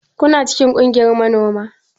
Kuna cikin kungiyar manoma?